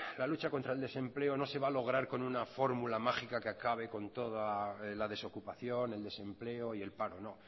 la lucha contra el desempleo no se va a lograr con una fórmula mágica que acabe con toda la desocupación el desempleo y el paro no